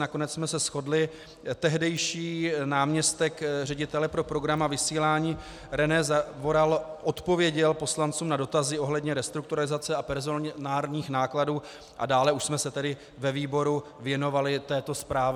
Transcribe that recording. Nakonec jsme se shodli, tehdejší náměstek ředitele pro program a vysílání René Zavoral odpověděl poslancům na dotazy ohledně restrukturalizace a personálních nákladů, a dále už jsme se tedy ve výboru věnovali této zprávě.